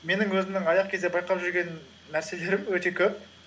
менің өзімнің аяқ кезде байқап жүрген нәрселерім өте көп